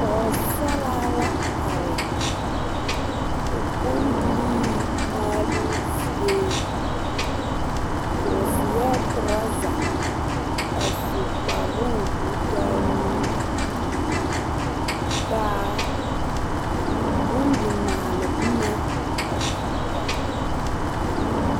Poosaraa la are o bundirii maaloo zie o seɛɛ trɔza a su kparoo koo taa nuure kaa bondi maale bomma a biŋ kɔg o.